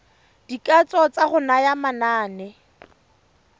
dikatso tsa go naya manane